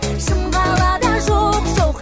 шым қалада жоқ жоқ